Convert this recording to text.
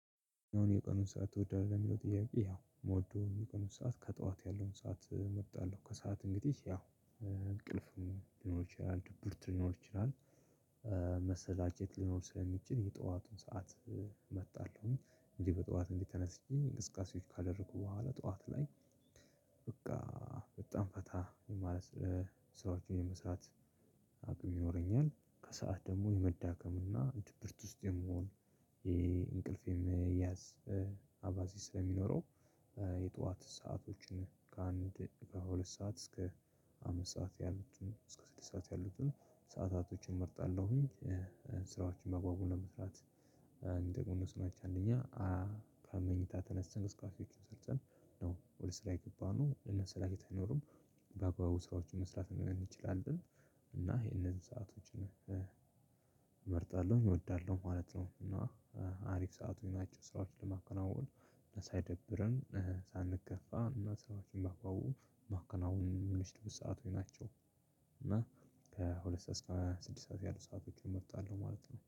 አሁን የቀኑን ሰዓት ትወዳለህ የሚለው ጥያቄ ያው ሞዶ የቀኑን ሰዓት ከጠዋት ያለውን ሰዓት እመርጣለሁ ከሰአት እንግዲህ ያው እንቅልፍ ሊኖር ይችላል ድብርት ሊኖር ይችላል። መሰላቸት ሊኖር ስለሚችል የጠዋቱን ሰዓት እመርጣለሁኝ አንዴ በጠዋት እንግዲህ ተነስቼ እንቅስቃሴዎች ካደረኩ በኋላ ጠዋት ላይ። በቃ በጣም ፈታ ማለት ሰራወችን የመስራት ይኖረኛል። ከሰአት ደግሞ የመዳከም እና ድብርት ውስጥ የመሆን የእንቅልፌን የመያዝ አባዜ ስለሚኖረው። የጠዋት ሰአቶችን ከአንድ ከሁለት ሰዓት እስከ አምስት ሰዓት ያሉትን እስከ ስድስት ሰዓት ያሉትን ሰዓታቶችን እመርጣለሁኝ። ስራዎችን በአግባቡ ለመስራት እንደ ግኑስ ማየት አንደኛ ከመኝታ ተነስተን እቅስቃሴዎቹን ሰርተን ነው ወደ ስራ የገባነው እነ ስራ የተኖሩም በአግባቡ ስራዎች መስራት እንችላለን። እና ይሄንን ሰአቶች እመርጣለሁ እወዳለሁ ማለት ነው። እና አሪፍ ሰአቶች ናቸው ስራዎችን ለማከናወኑ ሳይደብርን ሳንከፋ ሰራችን ባግባቡ ማከናወን የምንችልበት ሰአቶች ናቸው። እና ከሁለት ሰዓት እስከ ስድስት ሰዓት ያሉ ሰአቶችን እመጣለሁ ማለት ነው